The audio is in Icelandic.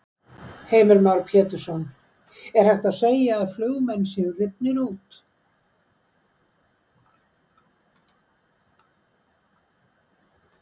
Heimir Már Pétursson: Er hægt að segja að flugmenn séu rifnir út?